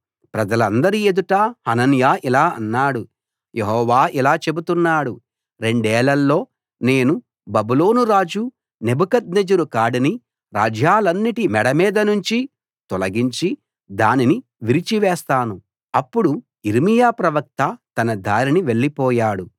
ప్రజలందరి ఎదుట హనన్యా ఇలా అన్నాడు యెహోవా ఇలా చెబుతున్నాడు రెండేళ్ళలో నేను బబులోను రాజు నెబుకద్నెజరు కాడిని రాజ్యాలన్నిటి మెడమీద నుంచి తొలగించి దానిని విరిచివేస్తాను అప్పుడు యిర్మీయా ప్రవక్త తన దారిన వెళ్లిపోయాడు